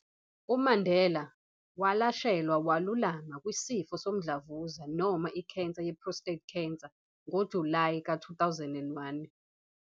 UMandela walashelwa walulama kwisifo somdlavuza noma ikhensa ye-prostate cancer ngoJulayi ka 2001.